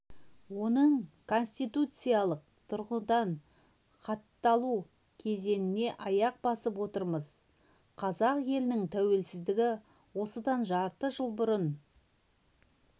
оның конституциялық тұрғыдан хатталу кезеңіне аяқ басып отырмыз қазақ елінің тәуелсіздігі осыдан жарты жыл бұрын